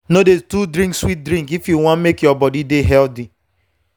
no dey too drink sweet drink if you wan make your body dey healthy.